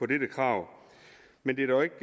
dette krav men det er dog ikke